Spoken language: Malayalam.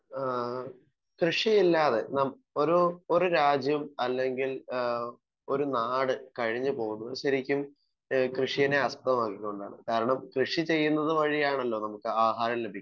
സ്പീക്കർ 1 ആഹ് കൃഷിയില്ലാതെ നാം ഒരു ഒരു രാജ്യം അല്ലെങ്കിൽ ഏഹ് ഒരു നാട് കഴിഞ്ഞു പോവുന്നത് ശരിക്കും ഏഹ് കൃഷിനെ ആസ്ഥവമാക്കി കൊണ്ടാണ് കാരണം കൃഷി ചെയ്യുന്നത് വഴിയാണല്ലോ നമുക്ക് ആഹാരം ലഭിക്കുന്നത്.